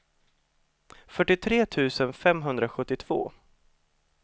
fyrtiotre tusen femhundrasjuttiotvå